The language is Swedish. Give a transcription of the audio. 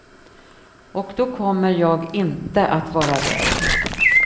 Och då kommer jag inte att vara rädd.